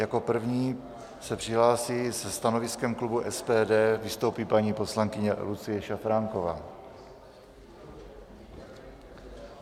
Jako první se přihlásí se stanoviskem klubu SPD, vystoupí paní poslankyně Lucie Šafránková.